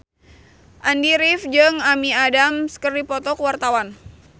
Andy rif jeung Amy Adams keur dipoto ku wartawan